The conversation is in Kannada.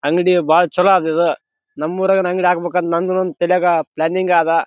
ಅವನು ಬಿಳಿಯ ಶರ್ಟ್ ಹಾಕಿದ್ದಾನೆ ಅವನ ಕೈಯಲ್ಲಿ ಒಂದು ಕವರ್ ಇದೆ ಅಲ್ಲಿ ತುಂಬಾ ಡಬ್ಬಗಳು ಇಟ್ಟಿದ್ದಾರೆ.